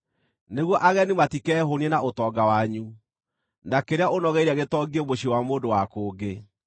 nĩguo ageni matikehũũnie na ũtonga wanyu, na kĩrĩa ũnogeire gĩtongie mũciĩ wa mũndũ wa kũngĩ.